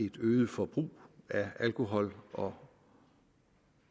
et øget forbrug af alkohol og